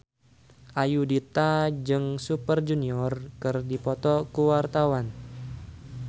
Ayudhita jeung Super Junior keur dipoto ku wartawan